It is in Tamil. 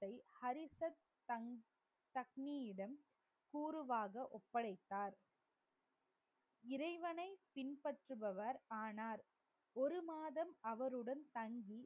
ஹரிசத் தங்~ தக்கினியிடம் கூறுவாக ஒப்படைத்தார் இறைவனை பின்பற்றுபவர் ஆனார் ஒரு மாதம் அவருடன் தங்கி